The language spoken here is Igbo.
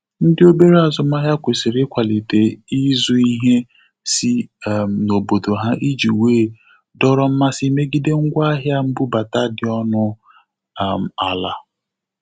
Ndị obere azụmahịa kwesịrị ikwalịte izụ ihe si um n'obodo ha iji wee dọrọ mmasị megide ngwa ahia mbubata dị ọnụ um ala.